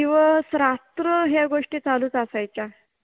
दिवस रात्र ह्या गोष्टी चालुच असायच्या